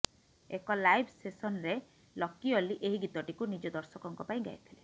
ଏକ ଲାଇଭ ସେସନ୍ରେ ଲକି ଅଲ୍ଲି ଏହି ଗୀତଟିକୁ ନିଜ ଦର୍ଶକଙ୍କ ପାଇଁ ଗାଇଥିଲେ